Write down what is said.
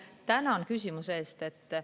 Tänan küsimuse eest!